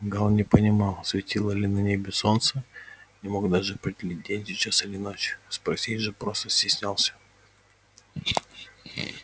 гаал не понимал светило ли на небе солнце не мог даже определить день сейчас или ночь спросить же просто стеснялся